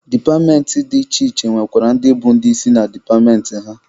Departmentị dị iche iche nwekwara ndị bụ ndị isi na departmentị ha.